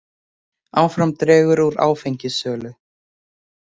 Áfram dregur úr áfengissölu